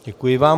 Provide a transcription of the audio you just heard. Děkuji vám.